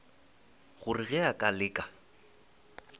gore ge a ka leka